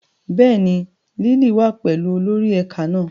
Bẹ́ẹ̀ni, Lily wa pẹlu olori ẹka náa